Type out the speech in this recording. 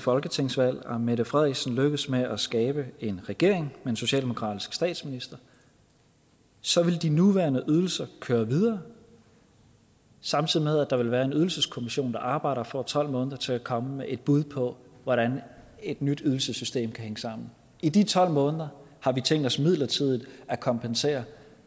folketingsvalg og mette frederiksen lykkes med at skabe en regering med en socialdemokratisk statsminister så vil de nuværende ydelser køre videre samtidig med at der vil være en ydelseskommission der arbejder og får tolv måneder til at komme med et bud på hvordan et nyt ydelsessystem kan hænge sammen i de tolv måneder har vi tænkt os midlertidigt at kompensere